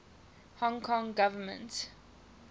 hong kong government